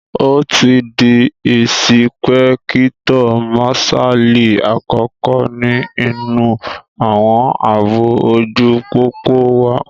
Ó ti di ìsìpẹ́kítọ̀ màsálì àkọ́kọ́ ní inú àwọn àbò ojú pópó wa